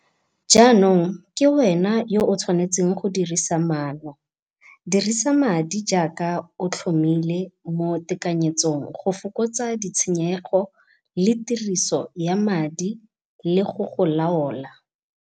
Jaanong ke wena yo o tshwanetseng go dirisa maano. Dirisa madi jaaka o tlhomile mo tekanyetsong go fokotsa ditshenyego le tiriso ya madi le go go laola.